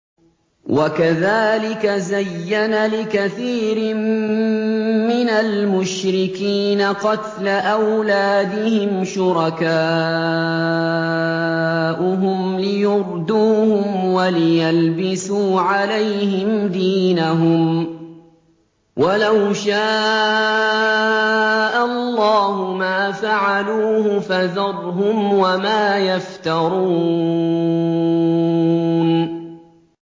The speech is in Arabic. وَكَذَٰلِكَ زَيَّنَ لِكَثِيرٍ مِّنَ الْمُشْرِكِينَ قَتْلَ أَوْلَادِهِمْ شُرَكَاؤُهُمْ لِيُرْدُوهُمْ وَلِيَلْبِسُوا عَلَيْهِمْ دِينَهُمْ ۖ وَلَوْ شَاءَ اللَّهُ مَا فَعَلُوهُ ۖ فَذَرْهُمْ وَمَا يَفْتَرُونَ